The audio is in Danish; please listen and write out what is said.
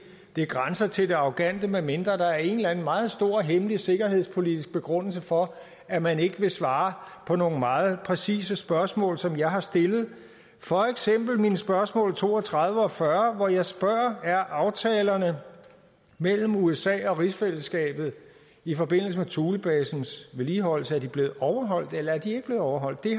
det grænser til det arrogante medmindre der er en eller anden meget stor hemmelig sikkerhedspolitisk begrundelse for at man ikke vil svare på nogle meget præcise spørgsmål som jeg har stillet for eksempel mine spørgsmål nummer to og tredive og fyrre hvor jeg spørger er aftalerne mellem usa og rigsfællesskabet i forbindelse med thulebasens vedligeholdelse blevet overholdt eller er de ikke blevet overholdt det